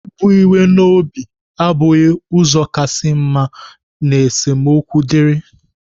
Ibu iwe n'obi abụghị ụzọ kasị mma ma esemokwu dịrị.